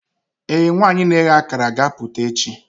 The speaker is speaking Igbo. ee, nwanyị na-eghe akara ga-apụta echi.